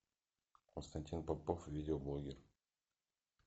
константин попов видеоблогер